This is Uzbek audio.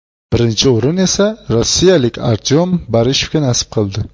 Birinchi o‘rin esa rossiyalik Artyom Barishevga nasib qildi.